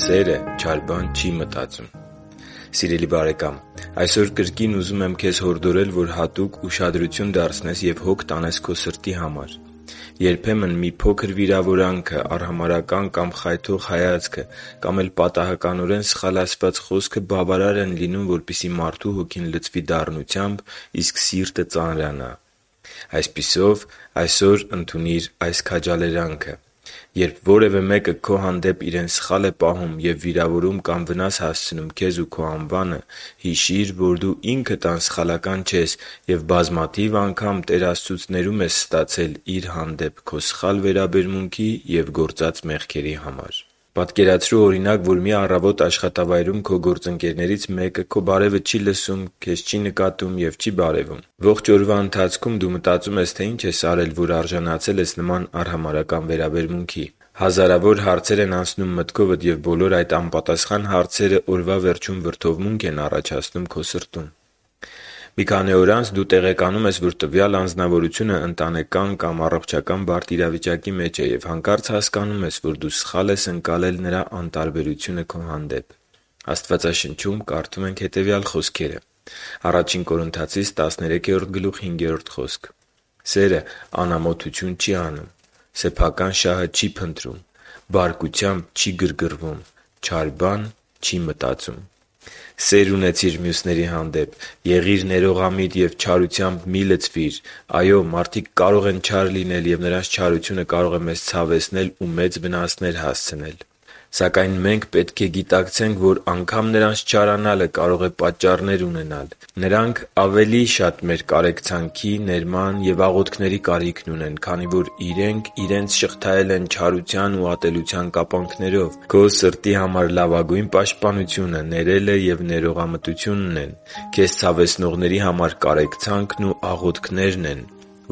Սերը չար բան չի մտածում… Սիրելի՛ բարեկամ, այսօր կրկին ուզում եմ քեզ հորդորել, որ հատուկ ուշադրություն դարձնես և հոգ տանես քո սրտի համար։ Երբեմն մի փոքր վիրավորանքը, արհամարհական կամ խայթող հայացքը կամ էլ պատահականորեն սխալ ասված խոսքը բավարար են լինում, որպեսզի մարդու հոգին լցվի դառնությամբ, իսկ սիրտը՝ ծանրանա։ Այսպիսով, այսօր ընդունիր այս քաջալերանքը․ «Երբ որևէ մեկը քո հանդեպ իրեն սխալ է պահում և վիրավորում կամ վնաս հասցնում քեզ ու քո անվանը, հիշի՛ր, որ դու ինքդ անսխալական չես և բազմաթիվ անգամ Տեր Աստծուց ներում ես ստացել Իր հանդեպ քո սխալ վերաբերմունքի և գործած մեղքերի համար»։ Պատկերացրու, օրինակ, որ մի առավոտ աշխատավայրում քո գործընկերներից մեկը քո բարևը չի լսում, քեզ չի նկատում և չի բարևում։ Ողջ օրվա ընթացքում դու մտածում ես, թե ինչ ես արել իրեն, որ արժանացել ես նման արհամարհական վերաբերմունքի։ Հազարավոր հարցեր են անցնում մտքովդ, և բոլոր այդ անպատասխան հարցերը օրվա վերջում վրդովմունք են առաջացնում քո սրտում։ Մի քանի օր անց դու տեղեկանում ես, որ տվյալ անձնավորությունը ընտանեկան բարդ իրավիճակի մեջ է… Եվ հանկարծ հասկանում ես, որ դու սխալ ես ընկալել նրա անտարբերությունը քո հանդեպ։ Աստվածաշնչում կարդում ենք հետևյալ խոսքերը.օ «(Սերը) Անամոթություն չի անում, սեփական շահը չի փնտրում, բարկությամբ չի գրգռվում, չար բան չի մտածում» (Ա Կորնթացիս 13․5)։ Սե՛ր ունեցիր մյուսների հանդեպ։ Եղի՛ր ներողամիտ և չարությամբ մի՛ լցվիր։ Այո՛, մարդիկ կարող են չար լինել, և նրանց չարությունը կարող է մեզ ցավեցնել ու մեծ վնասներ հասցնել։ Սակայն մենք պետք է գիտակցենք, որ անգամ նրանց չարանալը կարող է պատճառներ ունենալ։ Նրանք ավելի շատ մեր կարեկցանքի, ներման և աղոթքների կարիքն ունեն, քանի որ իրենք իրենց շղթայել են չարության և ատելության կապանքներով։ Քո սրտի համար լավագույն պաշտպանությունը ներելն ու ներողամտությունն են, քեզ ցավեցնողների համար կարեկցանքն ու աղոթքներն,